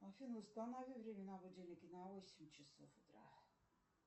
афина установи время на будильнике на восемь часов утра